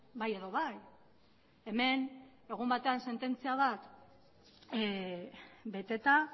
bai edo bai hemen egun batean sententzia bat beteta